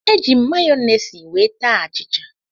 Eji m mayọnesị wee taa achịcha.